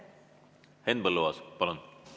Henn Põlluaas, palun!